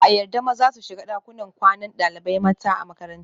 Ba a yarda maza su shiga dakunan kwanan dalibai mata a makaranta